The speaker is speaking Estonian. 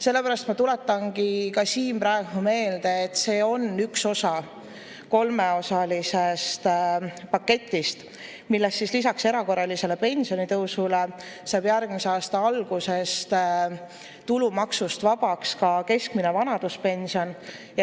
Sellepärast ma tuletangi ka siin praegu meelde, et see on üks osa kolmeosalisest paketist, milles lisaks erakorralisele pensionitõusule saab järgmise aasta algusest tulumaksust vabaks ka keskmine vanaduspension.